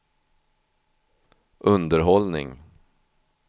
underhållning